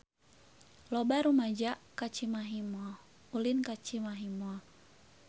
Loba rumaja ulin ka Cimahi Mall